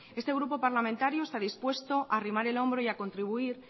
este grupo parlamentario está dispuesto a arrimar el hombro y a contribuir